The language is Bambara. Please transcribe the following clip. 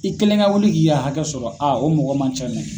I kelen ka wuli k'i hakɛ sɔrɔ a o mɔgɔ man ca dɛ.